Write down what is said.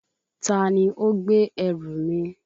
Ta ni ó gbé ẹrù mi?